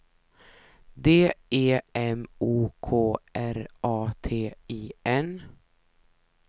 D E M O K R A T I N